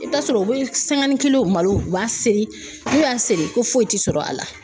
I bi t'a sɔrɔ u bɛ malo u b'a seri n'u y'a seri ko foyi ti sɔrɔ a la.